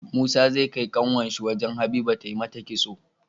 Musa zai kai kanwar shi wajan habiba ta mata kitso